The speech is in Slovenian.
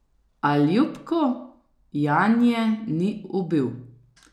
A Ljupko Janje ni ubil.